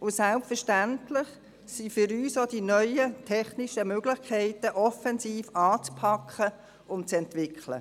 Und selbstverständlich sind für uns die neuen technischen Möglichkeiten offensiv anzupacken und zu entwickeln.